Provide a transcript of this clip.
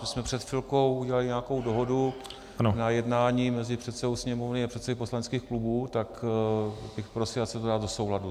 My jsme před chvilkou udělali nějakou dohodu na jednání mezi předsedou Sněmovny a předsedy poslaneckých klubů, tak bych prosil, ať se to dá do souladu.